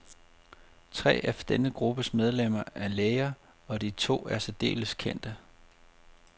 Tre af denne gruppes medlemmer er læger, og de to er særdeles kendte.